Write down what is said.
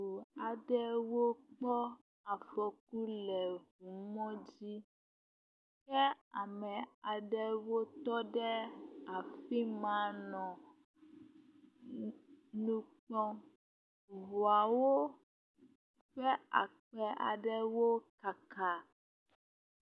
ŋu aɖewo kpɔ afɔku le mɔ dzi, ke ame ame aɖewo tɔ ɖe I ma le nukpɔm, ŋuawo ƒe afi aɖewo kaka